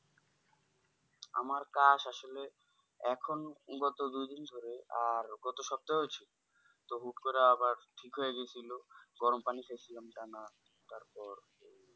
আমার কাজ আসলে এখন গত দুদিন ধরে আর গত সপ্তাহেও ছিল তো হুট্ করে আবার ঠিক হয়ে গেছিলো গরম পানি খেছিলাম তা না তারপর এই